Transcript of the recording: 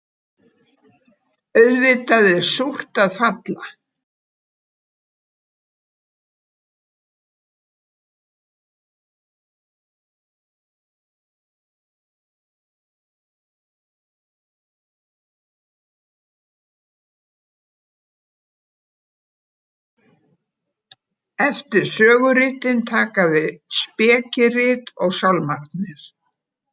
Eftir söguritin taka við spekirit og Sálmarnir.